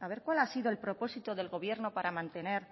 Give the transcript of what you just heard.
a ver cuál ha sido el propósito del gobierno para mantener